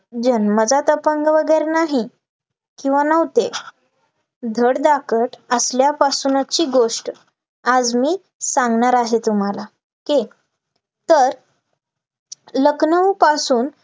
जन्मजात अपंग वगैरे नाही, किंवा नव्हते, धडधाकट असल्यापासुंची गोष्ट आज मी सांगणार आहे तुम्हाला, के सर लखनौ पासून